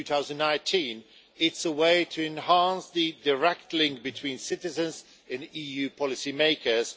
2019. It is a way to enhance the direct link between citizens and EU policymakers.